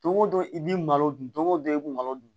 Don o don i b'i malo dun don o don i b'u malo dun